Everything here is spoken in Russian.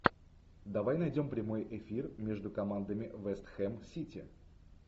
давай найдем прямой эфир между командами вест хэм сити